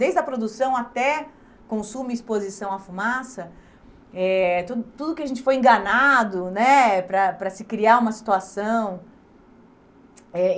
Desde a produção até consumo e exposição à fumaça, eh tudo tudo que a gente foi enganado né para para se criar uma situação. Eh